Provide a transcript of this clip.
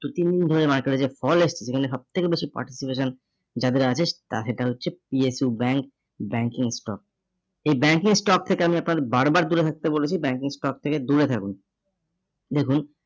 দু তিন দিন ধরে market এ যে fall এসছে, যেখানে সব থেকে বেশি participation যাদের আছে, সেটা হচ্ছে PSU bank, banking stock এই banking stock থেকে আমি আপনাকে বারবার দূরে থাকতে বলেছি banking stock থেকে দূরে থাকুন। দেখুন